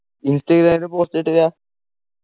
ഇൻസ്റ്റയിലൊക്കെ post ഇട്ടില്ല